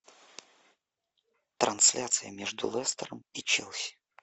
трансляция между лестером и челси